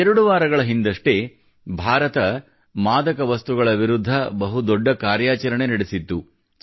ಎರಡು ವಾರಗಳ ಹಿಂದಷ್ಟೇ ಭಾರತ ಮಾದಕ ವಸ್ತುಗಳ ವಿರುದ್ಧ ಬಹು ದೊಡ್ಡ ಕಾರ್ಯಾಚರಣೆ ನಡೆಸಿತ್ತು